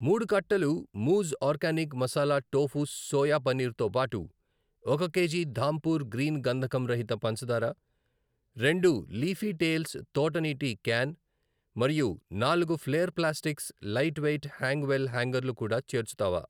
మూడు కట్టలు Mooj organic masala tofu soya paneer తో బాటు, ఒక కేజీ ధాంపూర్ గ్రీన్ గంధకం రహిత పంచదార, రెండు లీఫీ టేల్స్ తోట నీటి క్యాన్ మరియు నాలుగు flair plastics light weight hang well హ్యాంగర్లు కూడా చేర్చుతావా?